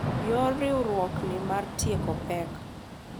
Yor riwruokni mar tieko pek